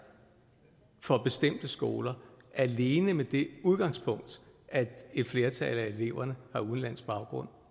for bestemte skoler alene med det udgangspunkt at et flertal af eleverne har udenlandsk baggrund